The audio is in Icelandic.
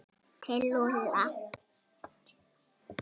Til Lúlla?